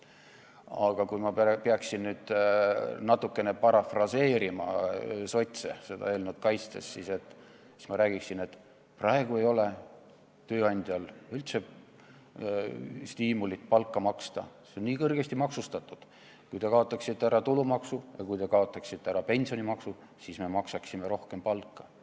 Aga kui ma peaksin natukene parafraseerima sotse seda eelnõu kaitstes, siis ma ütleksin, et praegu ei ole tööandjal üldse stiimulit palka maksta, sest see on nii kõrgesti maksustatud, siis, kui te kaotaksite ära tulumaksu ja kui te kaotaksite ära pensionimaksu, me maksaksime rohkem palka.